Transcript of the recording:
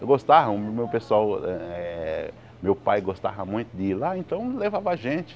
Eu gostava, o meu pessoal eh meu pai gostava muito de ir lá, então levava a gente.